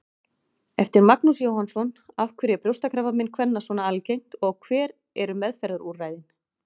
Eftir Magnús Jóhannsson Af hverju er brjóstakrabbamein kvenna svona algengt og hver eru meðferðarúrræðin?